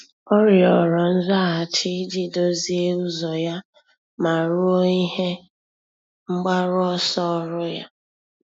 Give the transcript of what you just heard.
Ọ́ rịọ̀rọ̀ nzaghachi iji dòzìé ụ́zọ́ ya ma rúó ihe mgbaru ọsọ ọ́rụ́ ya.